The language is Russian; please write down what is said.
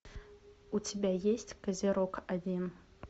у тебя есть козерог один